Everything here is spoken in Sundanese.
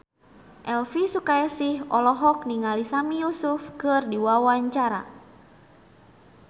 Elvi Sukaesih olohok ningali Sami Yusuf keur diwawancara